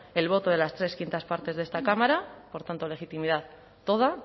el voto de las tres quintas partes de esta cámara por tanto legitimidad toda